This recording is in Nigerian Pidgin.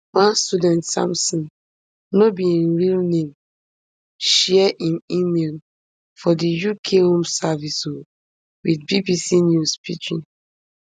one student sampson no be im real name share im email from di uk home office um wit bbc news pidgin